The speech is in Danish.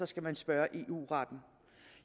skal man spørge eu retten